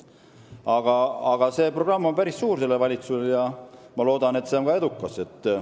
Aga praegusel valitsusel on päris suur programm ees ja ma loodan, et see on ka edukas.